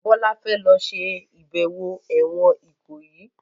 Bola fè ló ṣe ibẹwo èwòn Ikoyi.